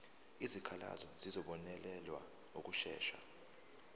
izikhalazo zizobonelelwa ngokushesha